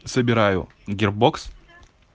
собираю гирбокс